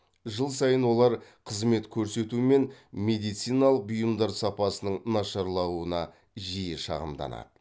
жыл сайын олар қызмет көрсету мен медициналық бұйымдар сапасының нашарлауына жиі шағымданады